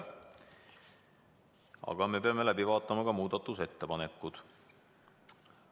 Aga me peame läbi vaatama muudatusettepanekud.